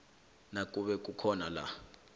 nakube kukhona la